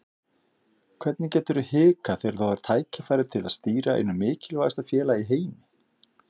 Hvernig geturðu hikað þegar þú færð tækifæri til að stýra einu mikilvægasta félagi í heimi?